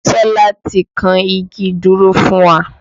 Tọ́lá ti kan igi ìdúró fún wa